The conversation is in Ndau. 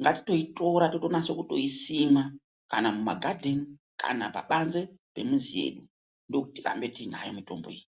ngatitoitora tinase kuisima kana mumagadheni kana pabanze pemuzi yedu ndokuti tirambe tinayo mitombo iyi.